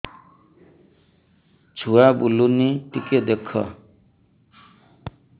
ଛୁଆ ବୁଲୁନି ଟିକେ ଦେଖ